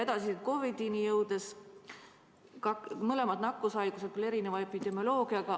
Edasi, COVID‑ini jõudes, mõlemad on nakkushaigused, küll erineva epidemioloogiaga.